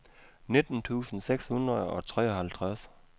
nitten tusind seks hundrede og treoghalvtreds